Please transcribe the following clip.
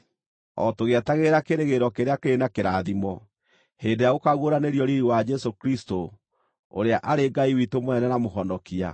o tũgĩetagĩrĩra kĩĩrĩgĩrĩro kĩrĩa kĩrĩ na kĩrathimo, hĩndĩ ĩrĩa gũkaaguũranĩrio riiri wa Jesũ Kristũ, ũrĩa arĩ Ngai witũ mũnene na Mũhonokia.